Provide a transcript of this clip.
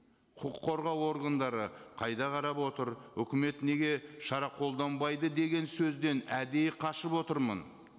құқық қорғау органдары қайда қарап отыр үкімет неге шара қолданбайды деген сөзден әдейі қашып отырмын